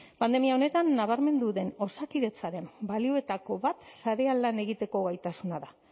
pandemia honetan nabarmendu den osakidetzaren balioetako bat sarean lan egiteko gaitasuna da